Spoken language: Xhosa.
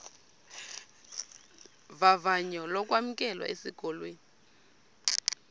vavanyo lokwamkelwa esikolweni